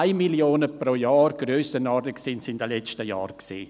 2 Mio. Franken pro Jahr waren es in den letzten Jahren.